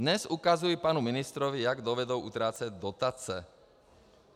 "Dnes ukazují panu ministrovi, jak dovedou utrácet dotace".